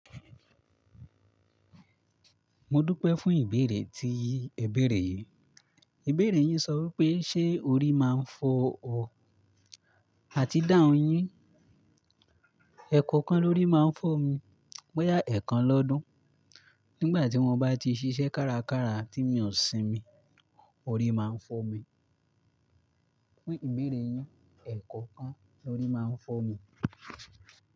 Mo dúpẹ́ fún ìbéèrè tí ẹ bẹ̀rẹ̀ yìí. Ìbéèrè yín sọ wí pé, "ṣé orí máa ń fọ ọ àti dá oyún?" ẹ̀kọ̀kan ló rí máa ń fọ́ mi. Bó yà ẹ̀kan lọ́dun. Nígbà tí wọ́n bá ti ṣiṣẹ́ kárakára tí mi ò sinmi, orí máa ń fọ́ mi. Fún ìbéèrè yín, ẹ̀kọ̀kan ló rí máa ń fọ́ mi.